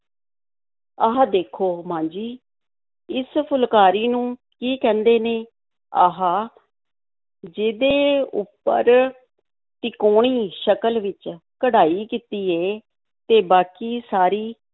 ਆਹ ਦੇਖੋ ਮਾਂ ਜੀ, ਇਸ ਫੁਲਕਾਰੀ ਨੂੰ ਕੀ ਕਹਿੰਦੇ ਨੇ? ਆਹ ਜਿਹਦੇ ਉੱਪਰ ਤਿਕੋਣੀ ਸ਼ਕਲ ਵਿੱਚ ਕਢਾਈ ਕੀਤੀ ਏ ਤੇ ਬਾਕੀ ਸਾਰੀ